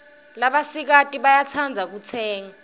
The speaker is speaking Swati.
labasikati bayetsandza kutsenge